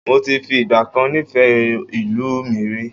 Moti fi ìgbàkan nifẹ ìlú mi rí